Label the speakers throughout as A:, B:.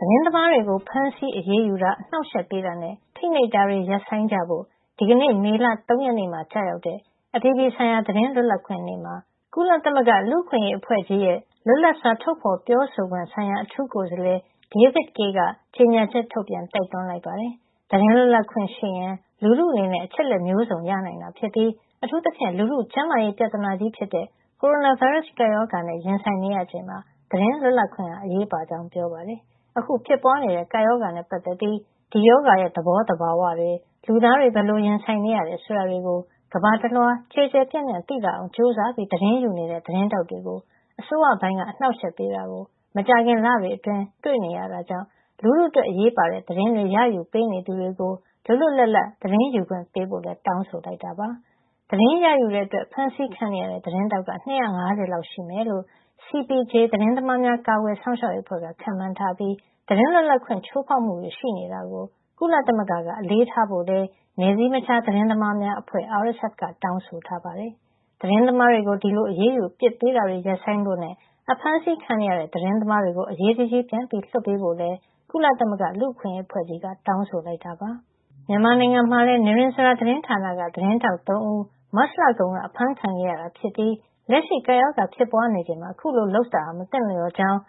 A: သတင်းသမားတွေကို ဖမ်းဆီးအရေးယူတာ၊ အနှောင့်အယှက်ပေးတာနဲ့ ဖိနှိပ်တာတွေ ရပ်ဆိုင်းကြဖို့ ဒီကနေ့ မေလ ၃ ရက်နေ့မှာ ကျရောက်တဲ့ အပြည်ပြည်ဆိုင်ရာ သတင်းလွတ်လပ်ခွင့်နေ့မှာ ကုလသမဂ္ဂ လူ့အခွင့်ရေးအဖွဲ့ကြီးရဲ့ လွတ်လပ်စွာ ထုတ်ဖော်ပြောဆိုခွင့်ဆိုင်ရာ အထူးကိုယ်စားလှယ် David Kaye က ကြေညာချက်ထုတ်ပြန် တိုက်တွန်းလိုက်ပါတယ်။ သတင်းလွတ်လပ်ခွင့်ရှိရင် လူထုအနေနဲ့ အချက်အလက်မျိုးစုံကို ရနိုင်တာဖြစ်ပြီး အထူးသဖြင့် လူထုကျန်းမာရေး ပြဿနာကြီးဖြစ်တဲ့ ကိုရိုနာဗိုင်းရပ်စ် ကပ်ရောဂါနဲ့ ရင်ဆိုင်နေရချိန်မှာ သတင်းလွတ်လပ်ခွင့်ဟာ အရေးပါကြောင်း ပြောပါတယ်။ အခုဖြစ်ပွားနေတဲ့ ကပ်ရောဂါနဲ့ပတ်သက်ပြီး ဒီရောဂါရဲ့ သဘောသဘာဝတွေ၊ လူသားတွေ ဘယ်လိုရင်ဆိုင်နေရတယ် ဆိုတာတွေကို ကမ္ဘာတလွှား ကျယ်ကျယ်ပြန့်ပြန့် သိလာအောင် ကြိုးစားပြီး သတင်းယူနေတဲ့ သတင်းထောက်တွေကို အစိုးရပိုင်းက အနှောင့်အယှက်ပေးတာကို မကြာခင် လတွေအတွင်း တွေ့နေရတာကြောင့် လူထုအတွက် အရေးပါတဲ့ သတင်းတွေ ရယူပေးနေသူတွေကို လွတ်လွတ်လပ်လပ် သတင်းရယူခွင့်ပေးဖို့လည်း တောင်းဆိုလိုက်တာပါ။ သတင်းရယူတဲ့အတွက် ဖမ်းဆီးခံနေရတဲ့ သတင်းထောက်က ၂၅၀ လောက် ရှိမယ်လို့ CPJ (Committee to Protect Journalists) သတင်းသမားများ ကာကွယ်စောင့်ရှောက်ရေးအဖွဲ့က ခန့်မှန်းထားပြီး သတင်းလွတ်လပ်ခွင့် ချိုးဖောက်မှုတွေ ရှိနေတာကို ကုလသမဂ္ဂက အလေးထားဖို့လည်း နယ်စည်းမခြား သတင်းသမားများအဖွဲ့ RSF (Reporters Without Borders) က တောင်းဆိုထားပါတယ်။ သတင်းသမားတွေကို ဒီလို အရေးယူ အပြစ်ပေးတာတွေ ရပ်ဆိုင်းဖို့နဲ့ အဖမ်းဆီးခံနေရတဲ့ သတင်းသမားတွေကို အရေးတကြီး ပြန်လွှတ်ပေးဖို့လည်း ကုလသမဂ္ဂ လူ့အခွင့်အရေးအဖွဲ့ကြီးက တောင်းဆိုလိုက်တာပါ။ မြန်မာနိုင်ငံမှာလည်း နိရဉ္စရာသတင်းဌာနက သတင်းထောက် ၃ ဦး မတ်လကုန်က အဖမ်းခံခဲ့ရတာဖြစ်ပြီး လက်ရှိ ကပ်ရောဂါဖြစ်ပွားနေချိန်မှာ အခုလို လုပ်ဆောင်တာဟာ မသင့်လျော်ကြောင်း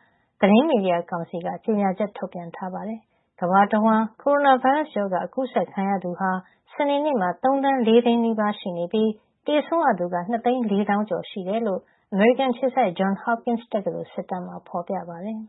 A: သတင်းမီဒီယာကောင်စီက ကြေညာချက် ထုတ်ပြန်ထားပါတယ်။ ကမ္ဘာတဝှမ်း ကိုရိုနာဗိုင်းရပ်စ်ရောဂါ ကူးစက်ခံရသူဟာ စနေနေ့မှာ ၃၄၀၀၀၀၀ နီးပါး ရှိနေပြီး သေဆုံးရသူကတော့ ၂၄၀၀၀၀ ကျော် ရှိနေတယ်လို့ အမေရိကန်အခြေစိုက် Johns Hopkins တက္ကသိုလ် စစ်တမ်းမှာ ဖော်ပြထားပါတယ်။